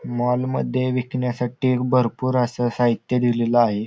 Mall मध्ये विकण्यासाठी भरपूर अस साहित्य दिलेल आहे.